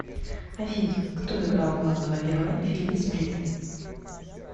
афина кто играл главного героя в фильме сплит